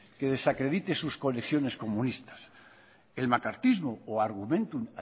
que desacredite sus conexiones comunistas el macartismo o argumentum